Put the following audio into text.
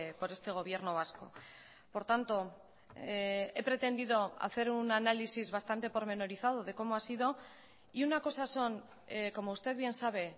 por este gobierno vasco por tanto he pretendido hacer un análisis bastante pormenorizado de cómo ha sido y una cosa son como usted bien sabe